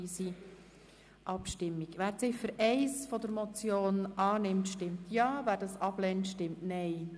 Wer die Ziffer 1 dieser Motion annimmt, stimmt Ja, wer diese ablehnt, stimmt Nein.